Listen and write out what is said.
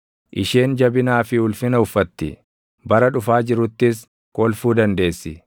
Isheen jabinaa fi ulfina uffatti; bara dhufaa jiruttis kolfuu dandeessi.